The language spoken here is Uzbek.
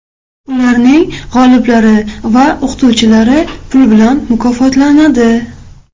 Ularning g‘oliblari va o‘qituvchilari pul bilan mukofotlanadi.